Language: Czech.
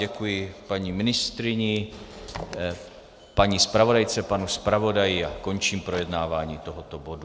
Děkuji paní ministryni, paní zpravodajce, panu zpravodaji a končím projednávání tohoto bodu.